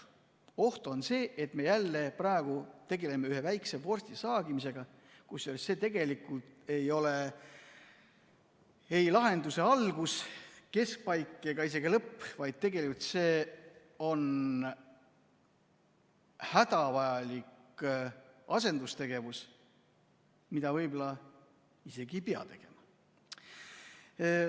Oht on see, et me jälle tegeleme ühe väikse vorsti saagimisega, kusjuures see tegelikult ei ole ei lahenduse algus, keskpaik ega lõpp, vaid tegelikult see on hädavajalik asendustegevus, mida võib-olla isegi ei pea tegema.